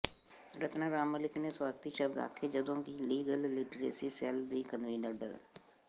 ਰਤਨਾ ਰਾਮ ਮਲਿਕ ਨੇ ਸਵਾਗਤੀ ਸ਼ਬਦ ਆਖੇ ਜਦੋਂ ਕਿ ਲੀਗਲ ਲਿਟਰੇਸੀ ਸੈੱਲ ਦੀ ਕਨਵੀਨਰ ਡਾ